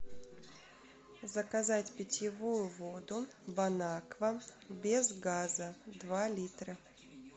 заказать питьевую воду бонаква без газа два литра